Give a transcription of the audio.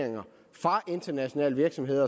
her